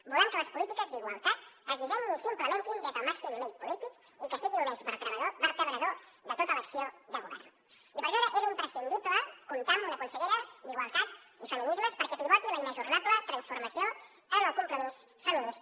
volem que les polítiques d’igualtat es dissenyin i s’implementen des del màxim nivell polític i que siguin un eix vertebrador de tota l’acció de govern i per això era imprescindible comptar amb una consellera d’igualtat i feminismes perquè pivoti la inajornable transformació en el compromís feminista